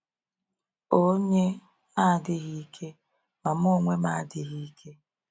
Ònye na-adịghị ike, ma mụ onwe m adịghị ike?